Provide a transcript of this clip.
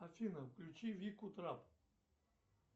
афина включи вику трап